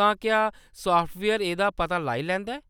तां क्या साफ्टवेयर एह्‌‌‌दा पता लाई लैंदा ऐ ?